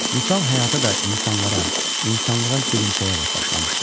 Vüsal həyata da, insanlara, insanlığa gülümsəyərək başlamışdı.